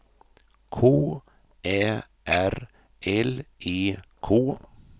K Ä R L E K